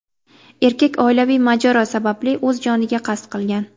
Erkak oilaviy mojaro sababli o‘z joniga qasd qilgan.